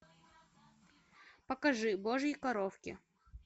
покажи божьи коровки